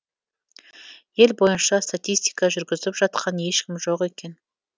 ел бойынша статистика жүргізіп жатқан ешкім жоқ екен